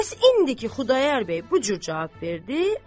Bəs indiki Xudayar bəy bu cür cavab verdi?